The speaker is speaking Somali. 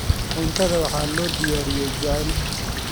Cuntada waxaa loo diyaariyey jacayl.